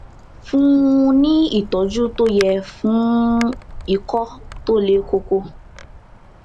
fún un ní ìtọjú tó yẹ fún ikọ tó le koko